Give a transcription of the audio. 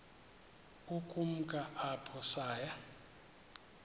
ukumka apho saya